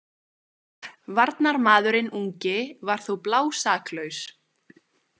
Varnarmaðurinn ungi var þó blásaklaus.